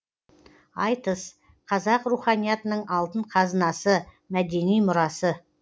айтыс қазақ руханиятының алтын қазынасы мәдени мұрасы